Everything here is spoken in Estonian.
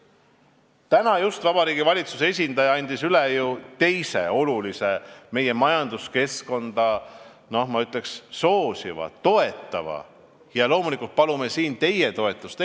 Täna just Vabariigi Valitsuse esindaja andis üle ju teise olulise meie majanduskeskkonda, ma ütleks, soosiva ja toetava eelnõu, millele loomulikult palume siin teie toetust.